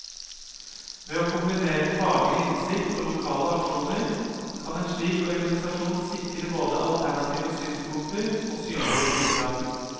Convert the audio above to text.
Ved å kombinere faglig innsikt og lokale aksjoner, kan en slik organisasjon sikre både alternative synspunkter og synlige tiltak.